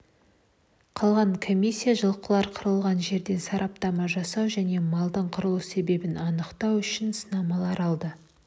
қалған комиссия жылқылар қырылған жерден сараптама жасау және малдың қырылу себебін анықтау үшін сынамалар алды